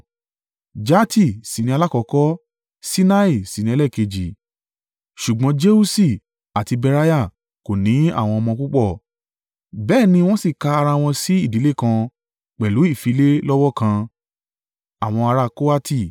Jahati sì ni alákọ́kọ́ Sinah sì ni ẹlẹ́ẹ̀kejì, ṣùgbọ́n Jeuṣi àti Beriah kò ní àwọn ọmọ púpọ̀; bẹ́ẹ̀ ni wọ́n sì ka ara wọn sí ìdílé kan pẹ̀lú ìfilé lọ́wọ́ kan.